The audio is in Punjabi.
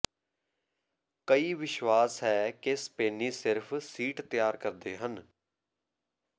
ਕਈ ਵਿਸ਼ਵਾਸ ਹੈ ਕਿ ਸਪੇਨੀ ਸਿਰਫ ਸੀਟ ਤਿਆਰ ਕਰਦੇ ਹਨ